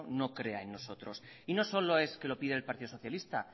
no crea en nosotros y no solo es que lo pide el partido socialista